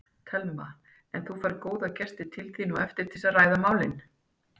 Telma: En þú færð góða gesti til þín á eftir til að ræða málin?